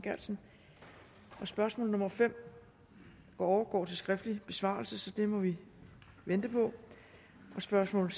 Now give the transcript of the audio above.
geertsen spørgsmål nummer fem overgår til skriftlig besvarelse så det må vi vente på spørgsmål